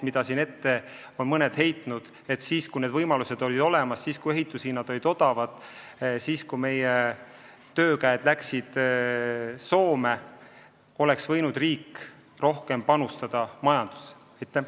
Mõned on ette heitnud, et siis, kui need võimalused olid olemas, kui ehituse hinnad olid odavad ja meie töökäed läksid Soome, oleks riik võinud rohkem majandusse panustada.